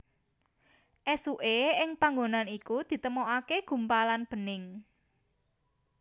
Esuke ing panggonan iku ditemokake gumpalan bening